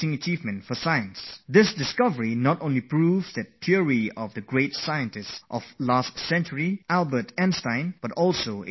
This discovery not only proves the theory of our greatest scientist of the previous century, Albert Einstein, but is also considered a great discovery for the world of physics